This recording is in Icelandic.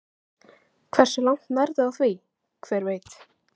Hversu langt nærðu á því, hver veit?